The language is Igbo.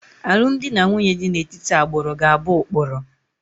Alụmdi na nwunye dị n'etiti agbụrụ ga-abụ ụkpụrụ